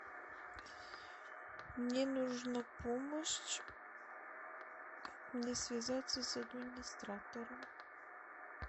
мне нужна помощь как мне связаться с администратором